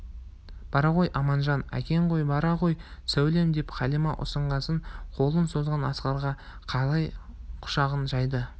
бара ғой аманжан әкең ғой бара ғой сәулем деп қалима ұсынғасын қолын созған асқарға қарай құшағын жайды